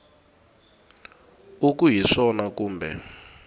u ku hi swona kumbe